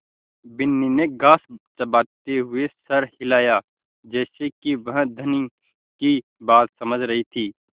बिन्नी ने घास चबाते हुए सर हिलाया जैसे कि वह धनी की बात समझ रही थी